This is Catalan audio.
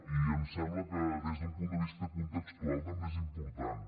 i em sembla que des d’un punt de vista contextual també és important